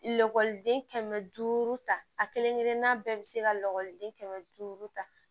Lakɔliden kɛmɛ duuru ta a kelen kelen bɛɛ bi se ka lakɔliden kɛmɛ duuru ta